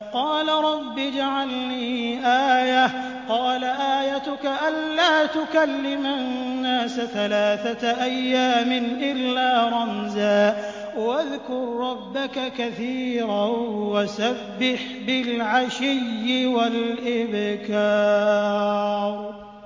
قَالَ رَبِّ اجْعَل لِّي آيَةً ۖ قَالَ آيَتُكَ أَلَّا تُكَلِّمَ النَّاسَ ثَلَاثَةَ أَيَّامٍ إِلَّا رَمْزًا ۗ وَاذْكُر رَّبَّكَ كَثِيرًا وَسَبِّحْ بِالْعَشِيِّ وَالْإِبْكَارِ